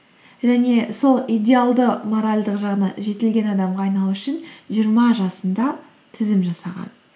және сол идеалды моральдық жағына жетілген адамға айналу үшін жиырма жасында тізім жасаған